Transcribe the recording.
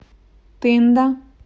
тында